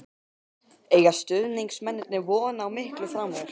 Eiga stuðningsmennirnir von á miklu frá mér?